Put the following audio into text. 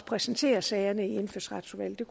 præsenterer sagerne i indfødsretsudvalget